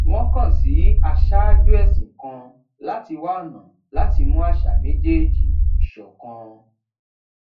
wón kàn sí aṣáájú èsìn kan láti wá ònà láti mú àṣà méjèèjì ṣòkan